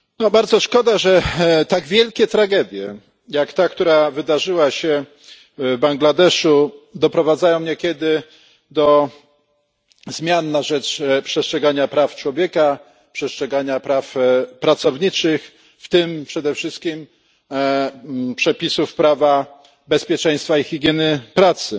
Bardzo szkoda, że tak wielkie tragedie jak ta, która wydarzyła się Bangladeszu, doprowadzają niekiedy do zmian na rzecz przestrzegania praw człowieka, przestrzegania praw pracowniczych, w tym przede wszystkim przepisów prawa bezpieczeństwa i higieny pracy.